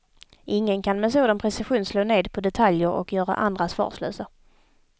Ingen kan med sådan precision slå ned på detaljer och göra andra svarslösa.